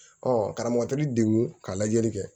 karamɔgɔ t'i degun ka lajɛli kɛ